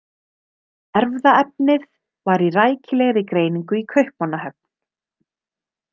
Erfðaefnið var í rækilegri greiningu í Kaupmannahöfn.